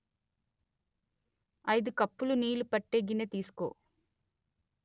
అయిదు కప్పులు నీళ్లు పట్టే గిన్నె తీసుకో